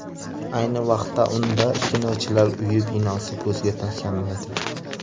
Ayni vaqtda, unda Kinochilar uyi binosi ko‘zga tashlanmaydi.